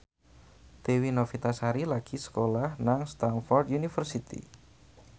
Dewi Novitasari lagi sekolah nang Stamford University